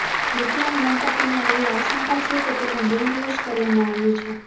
વિકલાંગ દંપતિને એવી આશંકા છે કે તેનું બ્રેઈનવોશ કરવામાં આવ્યું છે